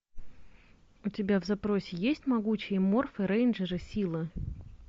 у тебя в запросе есть могучие морфы рейнджеры силы